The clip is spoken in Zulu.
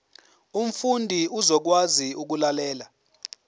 umfundi uzokwazi ukulalela